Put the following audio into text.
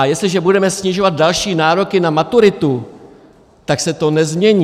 A jestliže budeme snižovat další nároky na maturitu, tak se to nezmění.